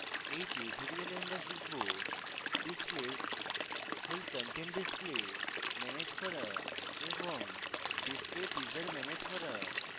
in tutorial আমরা শিখব: displays full content display manage করা এবং ডিসপ্লে teaser ম্যানেজ করা